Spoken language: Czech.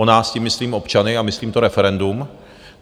O nás, tím myslím občany a myslím to referendum.